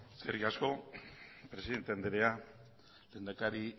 eskerrik asko presidente andrea lehendakari